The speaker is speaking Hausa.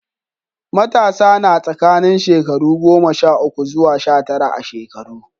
Matasa na tsakanin shekaru goma sha uku zuwa sha tara a shekaru.